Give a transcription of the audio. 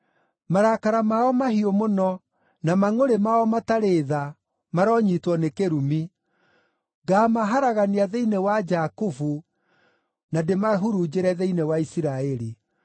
Marakara mao mahiũ mũno, na mangʼũrĩ mao matarĩ tha, maronyiitwo nĩ kĩrumi. Ngaamaharagania thĩinĩ wa Jakubu na ndĩmahurunjĩre thĩinĩ wa Isiraeli.